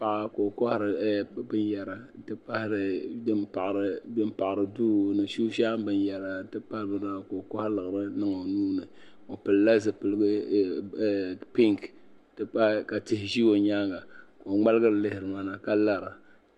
Paɣa ka o kohari binyɛra din paɣari duu ni shinshaɣu binyɛra ka o kohi laɣiri niŋ o nuuni o pilila zipili pink n ti pahi ka tihi ʒi o nyaanga ka o ŋmaligiri lihi mana ka lara